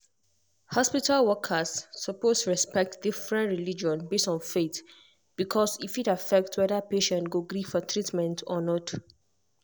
hospital workers suppose respect different religion based on faith because e fit affect whether patient go gree for treatment or not.